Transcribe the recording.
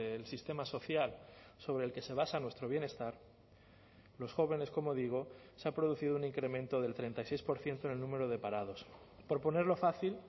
el sistema social sobre el que se basa nuestro bienestar los jóvenes como digo se ha producido un incremento del treinta y seis por ciento en el número de parados por ponerlo fácil